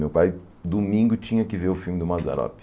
Meu pai, domingo, tinha que ver o filme do Mazzaropi.